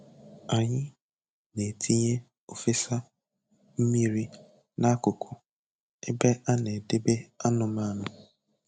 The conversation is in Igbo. Anyị na-etinye ofesa mmiri n'akụkụ ebe a na-edebe anụmanụ